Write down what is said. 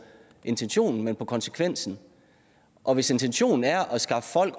intentionen men på konsekvensen og hvis intentionen er at skaffe folk